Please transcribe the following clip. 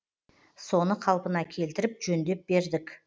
соны қалпына келтіріп жөндеп бердік